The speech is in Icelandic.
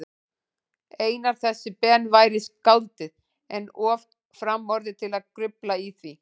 Einar þessi Ben væri skáldið, en of framorðið til að grufla í því.